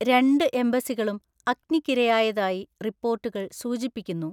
രണ്ട് എംബസികളും അഗ്നിക്കിരയായതായി റിപ്പോർട്ടുകൾ സൂചിപ്പിക്കുന്നു.